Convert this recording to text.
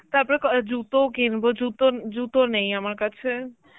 তারপরে ক~ অ্যাঁ জুতোউ কিনব জুতো ন~ জুতো নেই আমার কাছে.